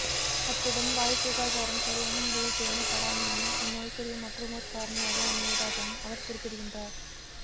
அத்துடன் வாய்ச்சுகாதாரம் சரியான முறையில் பேணப்படாமையும் இந் நோய்க்குரிய மற்றமோர் காரணியாக அமைவதாகவும் அவர் குறிப்பிடுகின்றார்